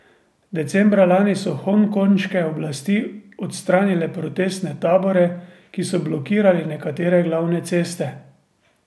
Decembra lani so hongkonške oblasti odstranile protestne tabore, ki so blokirali nekatere glavne ceste.